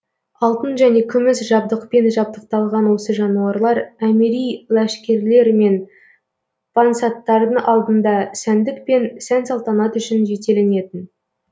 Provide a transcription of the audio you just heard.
алтын және күміс жабдықпен жабдықталған осы жануарлар әмири ләшкерлер мен пансаттардың алдында сәндік пен сән салтанат үшін жетеленетін